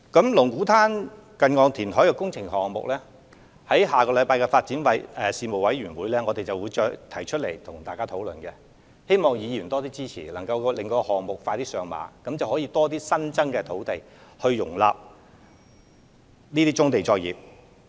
就龍鼓灘近岸填海工程項目，我們會在下星期舉行的發展事務委員會會議上，與各位議員進行討論，希望議員能多加支持，令該項目可盡快上馬，以便提供更多新增土地容納棕地作業。